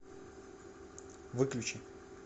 выключи